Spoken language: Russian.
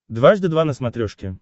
дважды два на смотрешке